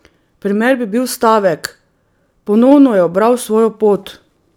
Primer bi bil stavek: "Ponovno je ubral svojo pot!